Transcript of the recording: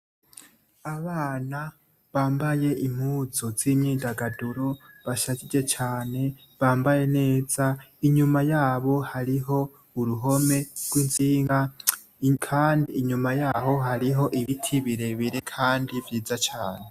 Abana bambaye impuzu z’imyidagaduro bashajije cane bambaye neza imyuma yabo hariho uruhome rw’intsinga kandi inyuma yaho hariho ibiti birebire kandi vyiza cane.